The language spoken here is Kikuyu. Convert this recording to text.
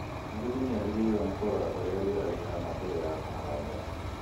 Mũrĩmi nĩagĩrĩirwo nĩ kũrora ũrĩa rĩera rĩhana mbere ya kũhanda